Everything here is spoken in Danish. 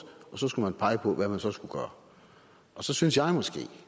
og så skulle man pege på hvad man så skulle gøre og så synes jeg måske